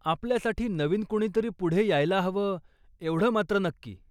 आपल्यासाठी नवीन कुणीतरी पुढे यायला हवं एवढं मात्र नक्की.